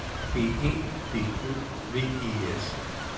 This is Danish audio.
B E D Ø V E S